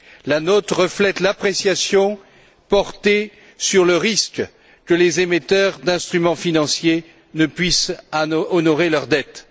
La note reflète l'appréciation portée sur le risque que les émetteurs d'instruments financiers ne puissent honorer leurs dettes.